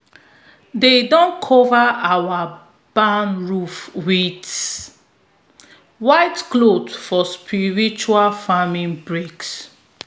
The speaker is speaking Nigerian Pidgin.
they don cover our barn roof with white cloth for spiritual farming breaks.